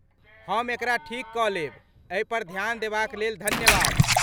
हम एकरा ठीक कऽ लेब, एहि पर ध्यान देबाक लेल धन्यवाद।